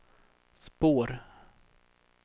spår